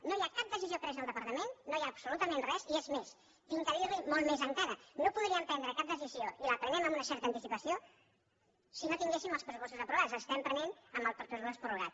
no hi ha cap decisió presa al departament no hi ha absolutament res i és més he de dir li molt més encara no podríem prendre cap decisió i la prenem amb una certa anticipació si no tinguéssim els pressupostos aprovats les estem prenent amb el pressupost prorrogat